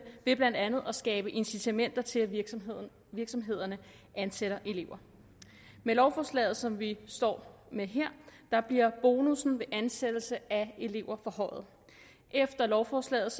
ved blandt andet at skabe incitamenter til at virksomhederne virksomhederne ansætter elever med lovforslaget som vi står med her bliver bonussen ved ansættelse af elever forhøjet efter lovforslaget